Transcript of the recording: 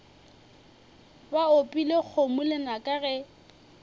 ba opile kgomo lenaka ge